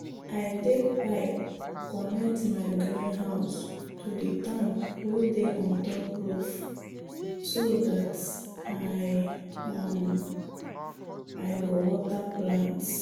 i take pipe connect my greenhouse to the tank wey dey on top roof so dat i um go water plants.